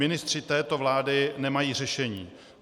Ministři této vlády nemají řešení.